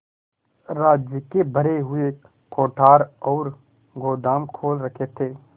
राज्य के भरे हुए कोठार और गोदाम खोल रखे थे